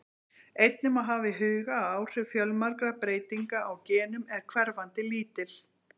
Einnig má hafa í huga að áhrif fjölmargra breytinga á genum eru hverfandi lítil.